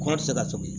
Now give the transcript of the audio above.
Kɔ tɛ se ka to